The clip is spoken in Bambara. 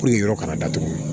Ko nin yɔrɔ kana datugu